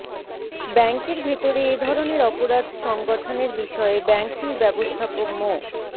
ব্যাংকের ভেতরে এ ধরনের অপরাধ সংগঠনের বিষয়ে ব্যাংকটির ব্যবস্থাপক মো